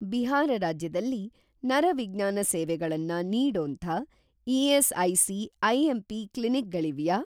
ಬಿಹಾರ ರಾಜ್ಯದಲ್ಲಿ ನರವಿಜ್ಞಾನ ಸೇವೆಗಳನ್ನ ನೀಡೋಂಥ ಇ.ಎಸ್.ಐ.ಸಿ. ಐ.ಎಂ.ಪಿ. ಕ್ಲಿನಿಕ್ ಗಳಿವ್ಯಾ?